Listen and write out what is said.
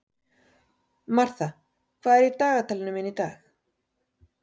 Martha, hvað er í dagatalinu mínu í dag?